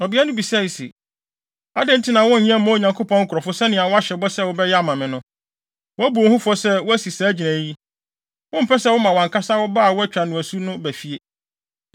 Ɔbea no bisae se, “Adɛn nti na wonyɛ mma Onyankopɔn nkurɔfo sɛnea wɔahyɛ bɔ sɛ wobɛyɛ ama me no. Woabu wo ho fɔ sɛ woasi saa gyinae yi. Wompɛ sɛ woma wʼankasa wo ba a wɔatwa no asu no ba fie.